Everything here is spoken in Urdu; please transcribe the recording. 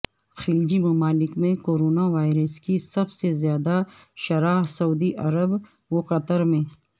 خلیجی ممالک میں کورونا وائرس کی سب سے زیادہ شرح سعودی عرب وقطر میں